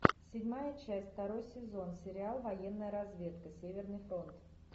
седьмая часть второй сезон сериал военная разведка северный фронт